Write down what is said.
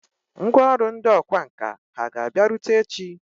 Ngwá ọrụ ndị ọkwá nkà hà ga-abịarute echi?